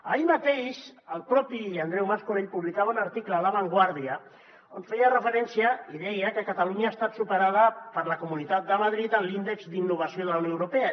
ahir mateix el mateix andreu mas colell publicava un article a la vanguardia on feia referència i deia que catalunya ha estat superada per la comunitat de madrid en l’índex d’innovació de la unió europea